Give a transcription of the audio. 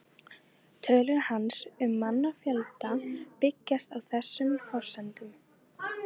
Tölur hans um mannfjölda byggjast á þessum forsendum.